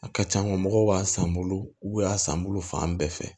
A ka c'a na mɔgɔw b'a san n bolo u y'a san n bolo fan bɛɛ fɛ